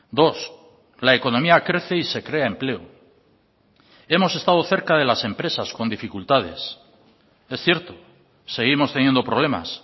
dos la economía crece y se crea empleo hemos estado cerca de las empresas con dificultades es cierto seguimos teniendo problemas